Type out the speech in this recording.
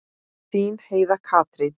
Þín Heiða Katrín.